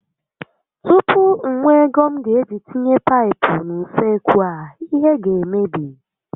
Tupu m nwee ego m ga eji tinye paịpụ n'usekwu a, ihe ga emebi